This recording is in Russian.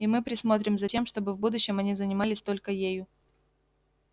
и мы присмотрим за тем чтобы в будущем они занимались только ею